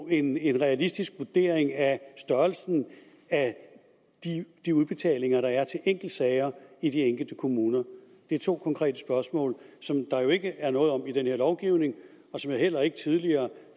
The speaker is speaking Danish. en en realistisk vurdering af størrelsen af de udbetalinger der er til enkeltsager i de enkelte kommuner det er to konkrete spørgsmål som der jo ikke er noget om i den her lovgivning og som jeg heller ikke tidligere